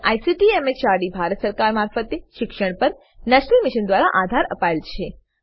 જેને ICT MHRD Bharat સરકાર મારફતે શિક્ષણ પર નેશનલ મિશન દ્વારા આધાર અપાયેલ છે